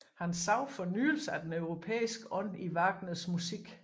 Han så fornyelse af den europæiske ånd i Wagners musik